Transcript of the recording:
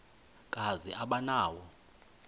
kazi aba nawo